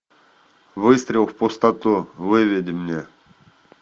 выстрел в пустоту выведи мне